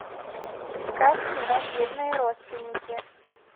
искать кино бедные родственники